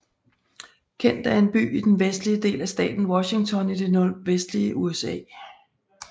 Kent er en by i den vestlige del af staten Washington i det nordvestlige USA